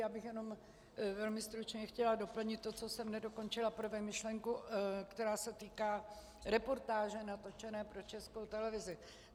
Já bych jenom velmi stručně chtěla doplnit to, co jsem nedokončila prve, myšlenku, která se týká reportáže natočené pro Českou televizi.